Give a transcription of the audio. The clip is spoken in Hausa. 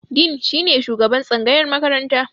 Dean shine shugaban tsangayar makaranta.